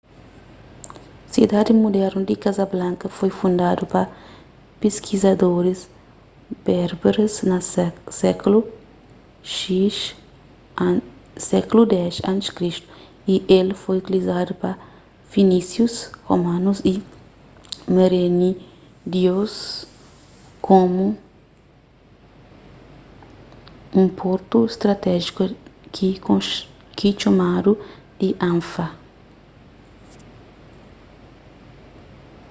sidadi mudernu di casablanca foi fundadu pa piskadoris berberes na sékulu x a.c. y el foi utilizadu pa finísius romanus y merenídeus komu un portu stratéjiku ki txomadu di anfa